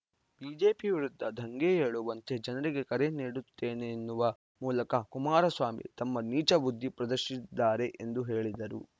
BJP ವಿರುದ್ಧ ದಂಗೆ ಏಳುವಂತೆ ಜನರಿಗೆ ಕರೆ ನೀಡುತ್ತೇನೆನ್ನುವ ಮೂಲಕ ಕುಮಾರಸ್ವಾಮಿ ತಮ್ಮ ನೀಚ ಬುದ್ಧಿ ಪ್ರದರ್ಶಿಸಿದ್ದಾರೆ ಎಂದು ಹೇಳಿದರು